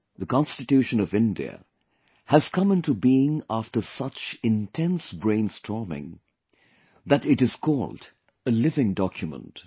The Constitution of India has come into being after such intense brainstorming that it is called a living document